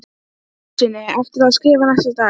Jónssyni eftir að skrifa næsta dag.